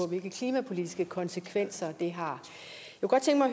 hvilke klimapolitiske konsekvenser det har